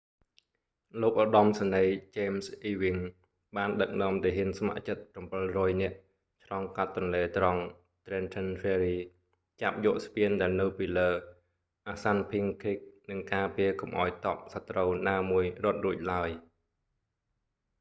លោកឧត្តមសេនីយ៍ james ewing បានដឹកនាំទាហានស្ម័គ្រចិត្ត700នាក់ឆ្លងកាត់ទន្លេត្រង់ trenton ferry ចាប់យកស្ពានដែលនៅពីលើ assunpink creek និងការពារកុំឱ្យទ័ពសត្រូវណាមួយរត់រួចឡើយ